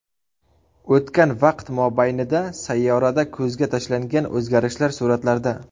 O‘tgan vaqt mobaynida sayyorada ko‘zga tashlangan o‘zgarishlar suratlarda.